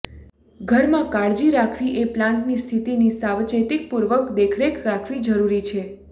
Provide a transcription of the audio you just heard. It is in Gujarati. ઘરમાં કાળજી રાખવી એ પ્લાન્ટની સ્થિતિની સાવચેતીપૂર્વક દેખરેખ રાખવી જરૂરી છે